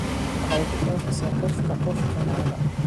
Waxa ay ku faafisaa qof ka qof kaneecada.